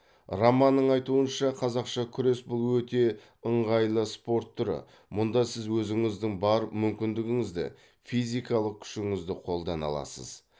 романның айтуынша қазақша күрес бұл өте ыңғайлы спорт түрі мұнда сіз өзіңіздің бар мүмкіндігіңізді физикалық күшіңізді қолдана аласыз